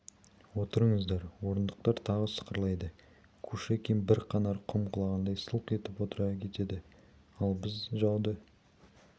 отырыңыздар орындықтар тағы сықырлайды кушекин бір қанар құм құлағандай сылқ етіп отыра кетеді ал біз жауды